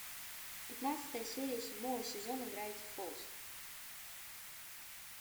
пятнадцатая серия седьмого сезона гравити фолз